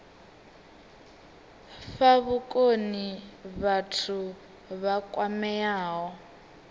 fha vhukoni vhathu vha kwameaho